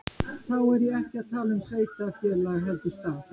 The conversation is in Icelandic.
Þá er ég ekki að tala um sveitarfélag heldur stað.